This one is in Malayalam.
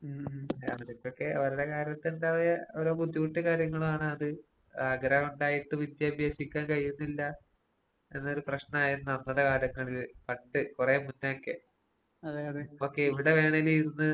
ഉം അവര്ക്കൊക്കെ അവര്ടെ കാലത്ത്ണ്ടായ ഓരോ ബുദ്ധിമുട്ട് കാര്യങ്ങളാണ് അത്. ആഗ്രഹം ഉണ്ടായിട്ടും വിദ്യ അഭ്യസിക്കാൻ കഴിയുന്നില്ല എന്നൊരു പ്രശ്നമായിരുന്നു അന്നത്തെ കാലങ്ങളില് പണ്ട് കൊറയെ മുന്നൊക്കെ. ഇപ്പൊ ഒക്കെ എവിടെ വേണേലും ഇരുന്ന്